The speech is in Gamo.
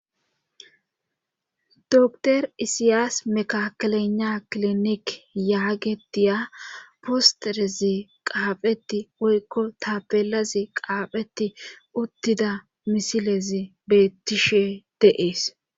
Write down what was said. docter isiyaas mekakelena klinik yaagetiya postereze qaapheti woykko tabelazi qaapheti uttida misilezi bettishe deees